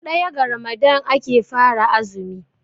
daya ga Ramadan ake fara azumi